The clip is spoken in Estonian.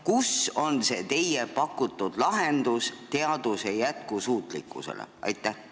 Kus on see teie pakutud lahendus teaduse jätkusuutlikkusele?